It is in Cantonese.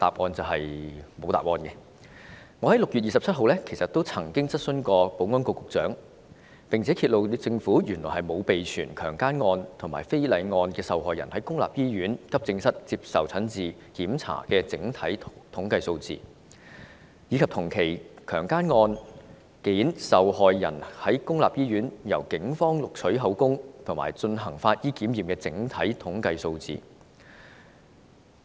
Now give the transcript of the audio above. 我在6月27日曾經向保安局局長提出質詢，結果揭露政府原來沒有備存強姦案和非禮案受害人在公立醫院急症室接受診治和檢查的整體統計數字，以及同期強姦案件的受害人在公立醫院由警方錄取口供及進行法醫檢驗的整體統計數字。